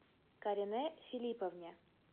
каринэ филипповне